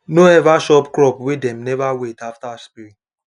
no ever chop crop wey dem never wait after spray